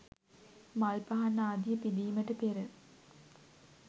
මල් පහන් ආදිය පිදීමට පෙර